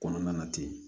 Kɔnɔna na ten